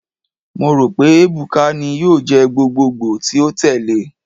Mo ro pe Ebuka ni yoo jẹ gbogbogbo ti o tẹle